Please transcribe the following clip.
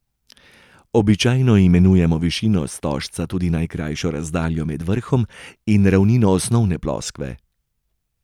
Običajno imenujemo višino stožca tudi najkrajšo razdaljo med vrhom in ravnino osnovne ploskve.